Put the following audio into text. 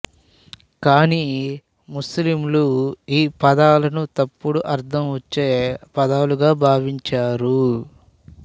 కానీ ముస్లింలు ఈ పదాలను తప్పుడు అర్థం వచ్చే పదాలుగా భావించారు